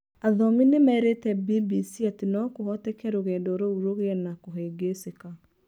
Athomi nĩ merĩte BBC atĩ no kũhoteke rũgendo rũu rũgĩe na kũhĩngĩcĩka.